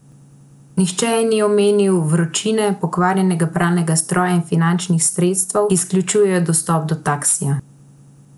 Nihče ji ni omenil vročine, pokvarjenega pralnega stroja in finančnih sredstev, ki izključujejo dostop do taksija.